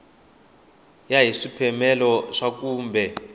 ya hi swipimelo swa kumbe